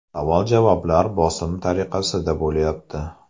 Savol-javoblar bosim tariqasida bo‘lyapti.